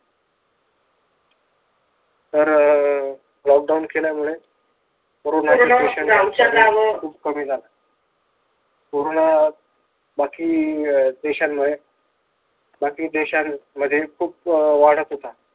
तर अं lockdown केल्यामुळे खूप कमी झाला. बाकी देशांमुळे बाकी देशांमध्ये खूप अं वाढत होता.